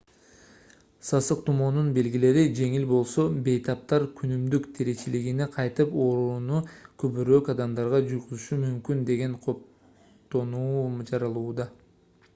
сасык тумоонун белгилери жеңил болсо бейтаптар күнүмдүк тиричилигине кайтып оорууну көбүрөөк адамдарга жугузушу мүмкүн деген кооптонуу жаралууда